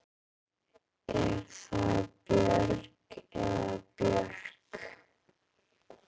Er það Björg eða Björk?